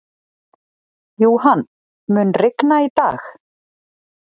Johan, mun rigna í dag?